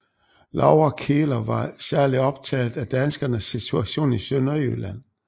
Laura Kieler var særlig optaget af danskernes situation i Sønderjylland